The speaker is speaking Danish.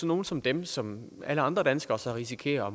nogle som dem som alle andre danskere risikerer at